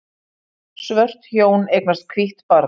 Svört hjón eignast hvítt barn